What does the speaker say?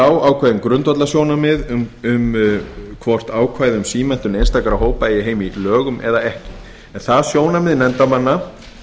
á ákveðin grundvallarsjónarmið um hvort ákvæði um símenntun einstakra hópa eigi heima í lögum eða ekki er það sjónarmið nefndarmanna að